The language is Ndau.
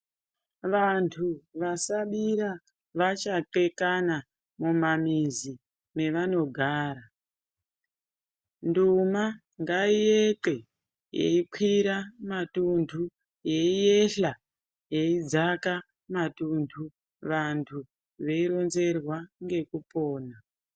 Vantu vasabira vachahle kana mumamizi mevanogara .Nduma ngaik'e yekwira matuntu yeiyehla yeidzaka matuntu, vantu veironzerwa ngekupona.